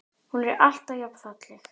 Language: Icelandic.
Hún er alltaf jafn falleg.